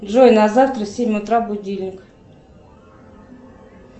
джой на завтра в семь утра будильник